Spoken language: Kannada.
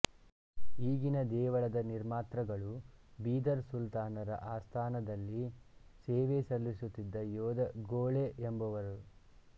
ಈಗಿನ ದೇವಳದ ನಿರ್ಮಾತೃಗಳು ಬೀದರ್ ಸುಲ್ತಾನರ ಆಸ್ಥಾನದಲ್ಲಿ ಸೇವೆ ಸಲ್ಲಿಸುತ್ತಿದ್ದ ಯೋಧ ಘೋಳೆ ಎಂಬುವರು